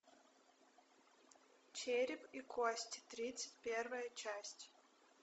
череп и кости тридцать первая часть